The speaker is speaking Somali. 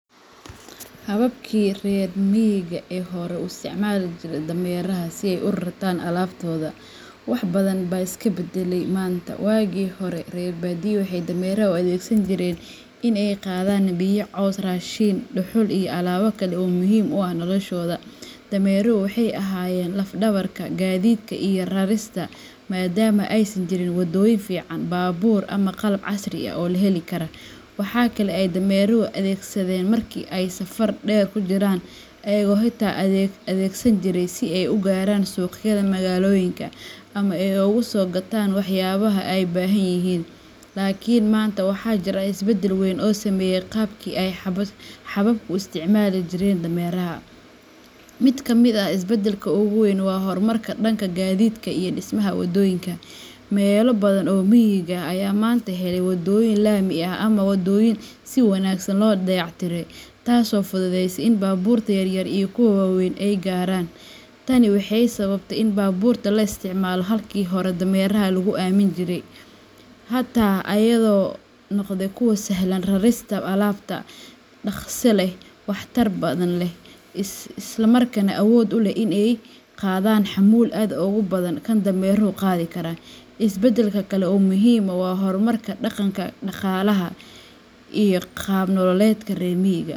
Xabbabkii reer miyiga ee hore u isticmaali jiray dameeraha si ay u rartaan alaabtooda, wax badan baa iska beddelay maanta. Wagi hore, reer badiyaha waxay dameeraha u adeegsan jireen in ay qaadaan biyo, caws, raashin, dhuxul iyo alaabo kale oo muhiim u ah noloshooda. Dameeruhu waxay ahaayeen laf-dhabarta gaadiidka iyo rarista, maadaama aysan jirin waddooyin fiican, baabuur, ama qalab casri ah oo la heli karo. Waxa kale oo ay dameeraha adeegsadeen marka ay safar dheer ku jireen, iyagoo xitaa adeegsan jiray si ay u gaaraan suuqyada magaalooyinka ama ay uga soo gataan waxyaabaha ay baahanyihiin. Laakiin maanta, waxaa jira isbeddello weyn oo saameeyay qaabkii ay xabbabku u isticmaali jireen dameeraha. Mid ka mid ah isbeddelada ugu waaweyn waa horumarka dhanka gaadiidka iyo dhismaha waddooyinka. Meelo badan oo miyiga ah ayaa maanta helay waddooyin laami ah ama waddooyin si wanaagsan loo dayactiray, taasoo fududeysay in baabuurta yaryar iyo kuwa waaweyn ay gaaraan. Tani waxay sababtay in baabuurta la isticmaalo halkii hore dameeraha lagu aamini jiray. Xitaa meelaha aan weli si buuxda loo horumarin, mootada ,mooto bajaajka iyo gaadiidka fudud ee la heli karo ayaa noqday kuwo sahla rarista alaabta, dhaqso leh, waxtar badan leh, islamarkaana awood u leh in ay qaadaan xamuul aad uga badan kan dameeruhu qaadi karo. Isbeddelka kale oo muhiim ah waa horumarka dhanka dhaqaalaha iyo qaab nololeedka reer miyiga.